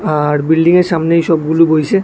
আর বিল্ডিংয়ের সামনে এই সবগুলো বইসে--